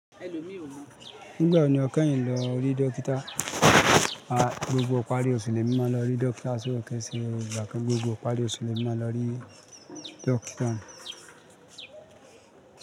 Nígbà wo ni o kẹ́ yiń lọ rí dókítà? Ah gbogbo ìparí oṣù lemi màá lọ rí dókítà, so ko i ṣe igba kan, gbogbo ìparí oṣù lemi màá lọ rí dókítà.